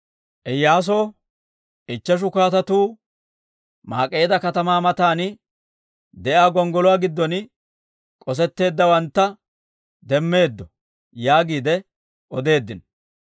Iyyaasoo, «Ichcheshu kaatetu, Maak'eeda katamaa matan de'iyaa gonggoluwaa giddon k'osetteeddawantta demmeeddo» yaagiide odeeddino.